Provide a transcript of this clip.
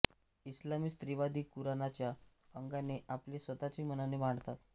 इस्लामी स्त्रीवादी कुराणाच्या अंगाने आपले स्वतःचे म्हणणे मांडतात